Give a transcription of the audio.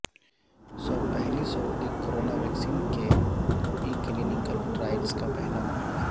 پہلی سعودی corona vaccine کے ای کلینکل ٹرائلز کا پہلا مرحلہ